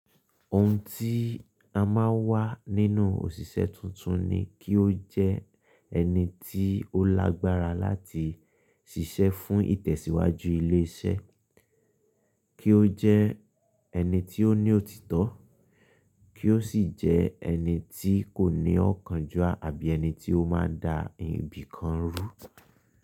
Ohun tí a máa wà nínú òṣìṣẹ́ tuntun ni kí ó jẹ́ ẹni tí ó lágbára láti ṣiṣẹ́ fún ìtẹ̀síwájú ilé iṣẹ́, kí ó jẹ́ ẹni tí ó ní òtítọ́, kí ó sì jẹ́ ẹni tí kò ní ọ̀kánjúà àbí ẹni tí ó máa da ibìkan rú.